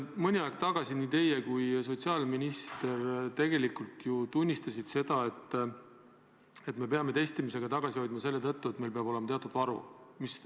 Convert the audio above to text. Mõni aeg tagasi nii teie kui ka sotsiaalminister tegelikult tunnistasite, et me peame testimisega tagasi hoidma selle tõttu, et meil peab olema teatud varu.